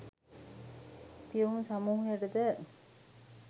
පියුම් සමූහයටද